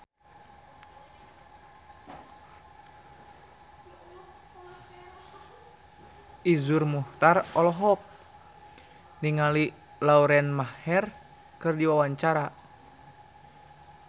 Iszur Muchtar olohok ningali Lauren Maher keur diwawancara